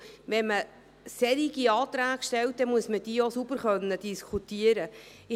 Wenn man solche Anträge stellt, müssen diese auch sauber diskutiert werden können.